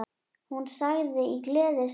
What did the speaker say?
Hún sagði í gleði sinni: